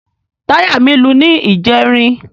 Táyà mí lu ní ìjẹrin.